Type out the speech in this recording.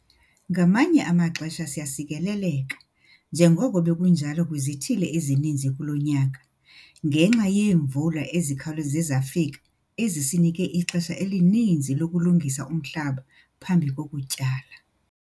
Ngamanye amaxesha siyasikeleleka, njengoko bekunjalo kwizithili ezininzi kulo nyaka, ngenxa yeemvula ezikhawuleze zafika ezisinike ixesha elininzi lokulungisa umhlaba phambi kokutyala.